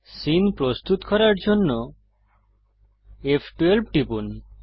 scene প্রস্তুত করার জন্য ফ12 টিপুন